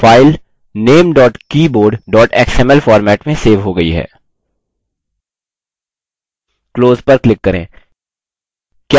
file name keyboard xml format में save हो गयी है close पर click करें